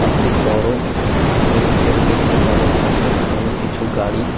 একটি বড় টিন এর শেড দেখতে পাওয়া যাচ্ছে এবং কিছু গাড়ি।